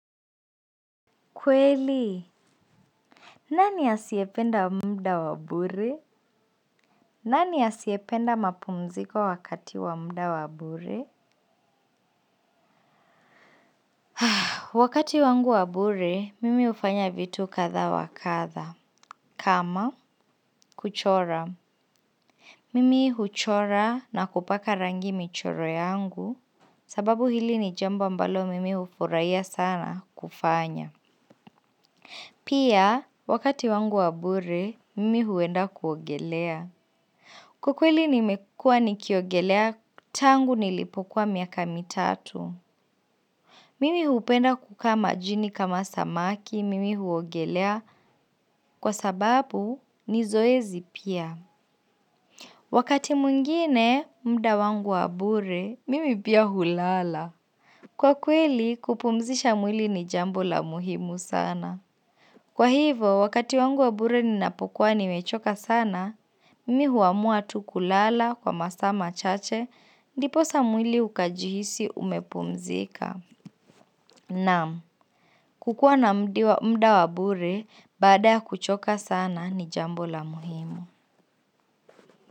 Kweli, nani asiyependa muda wa bure? Nani asiyependa mapumziko wakati wa muda wa bure? Wakati wangu wa bure, mimi hufanya vitu kadha wa kadha. Kama, kuchora. Mimi huchora na kupaka rangi michoro yangu, sababu hili ni jambo ambalo mimi hufurahia sana kufanya. Pia, wakati wangu wa bure, mimi huenda kuogelea. Kwa kweli nimekua nikiogelea tangu nilipokuwa miaka mitatu. Mimi hupenda kukaa majini kama samaki, mimi huogelea kwa sababu ni zoezi pia. Wakati mwingine muda wangu wa bure, mimi pia hulala. Kwa kweli kupumzisha mwili ni jambo la muhimu sana. Kwa hivo, wakati wangu wa bure ninapokuwa nimechoka sana, mimi huamua tu kulala kwa masaa machache, ndiposa mwili ukajihisi umepumzika. Naam kukuwa na muda wa bure baada ya kuchoka sana ni jambo la muhimu.